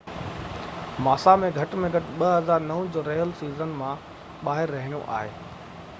ماسا کي گهٽ ۾ گهٽ 2009 جو رهيل سيزن مان ٻاهر رهڻو آهي